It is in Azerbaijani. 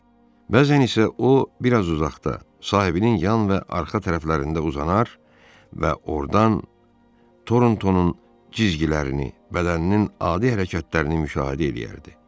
Bəzən isə o, biraz uzaqda, sahibinin yan və arxa tərəflərində uzanar və ordan Torontonun cizgilərini, bədəninin adi hərəkətlərini müşahidə eləyərdi.